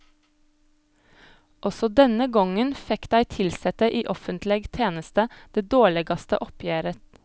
Også denne gongen fekk dei tilsette i offentleg teneste det dårlegaste oppgjeret.